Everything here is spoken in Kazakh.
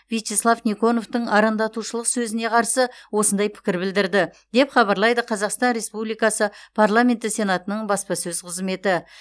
вячеслав никоновтың арандатушылық сөзіне қарсы осындай пікір білдірді деп хабарлайды қазақстан республикасы парламенті сенатының баспасөз қызметі